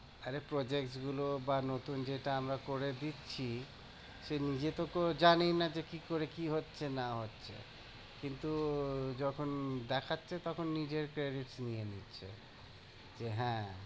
আরে project গুলো বা নতুন যেটা আমরা করে দিচ্ছি সে নিজে তো জানেই না যে কি করে কি হচ্ছে না হচ্ছে, কিন্তু যখন দেখাচ্ছে তখন নিজের credit নিয়ে নিচ্ছে, যে হ্যাঁ